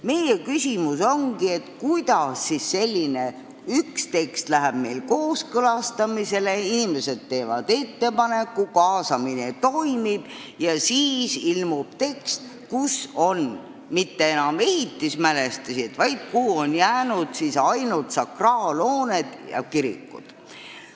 Meie küsimus ongi selline, et kuidas siis nii: inimesed on teinud ettepaneku, tekst läheb kooskõlastamisele, kaasamine toimub, aga siis ilmub tekst, kus ei ole kirjas mitte enam ehitismälestised, vaid kuhu on jäänud ainult sakraalhooned, kirikud.